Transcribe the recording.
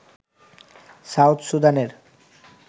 south সুদানের